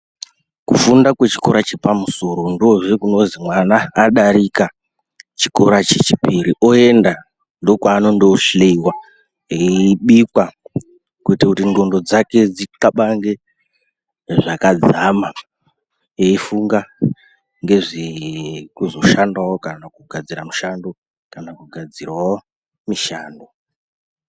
Kufunda kwe chikora che pamusoro ndohe kunozi mwana adarika chikora che chipiri oyenda ndo kwa anondo hliyiwa eyi bikwa kuitira kuti ndxondo dzake dzi kabange zvakadzama eyi funga ngezve kuzo shandawo kana kugadzira mushando kana kugadzirawo mishando.